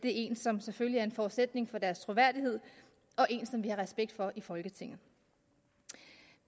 er en som selvfølgelig er en forudsætning for deres troværdighed og en som vi har respekt for i folketinget